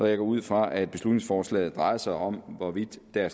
jeg går ud fra at beslutningsforslaget drejer sig om hvorvidt der